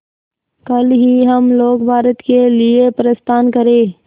कल ही हम लोग भारत के लिए प्रस्थान करें